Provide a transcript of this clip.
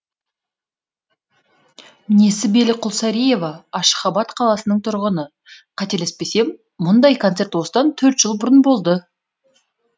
несібелі құлсариева ашхабад қаласының тұрғыны қателеспесем мұндай концерт осыдан төрт жыл бұрын болды